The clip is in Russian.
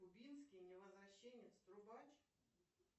кубинский невозвращенец трубач